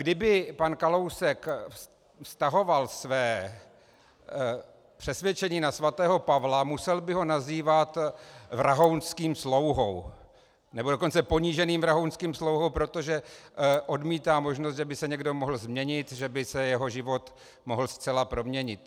Kdyby pan Kalousek vztahoval své přesvědčení na svatého Pavla, musel by ho nazývat vrahounským slouhou, nebo dokonce poníženým vrahounským slouhou, protože odmítá možnost, že by se někdo mohl změnit, že by se jeho život mohl zcela proměnit.